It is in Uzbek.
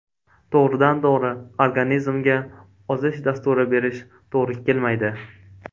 To‘g‘ridan-to‘g‘ri organizmga ozish dasturi berish to‘g‘ri kelmaydi.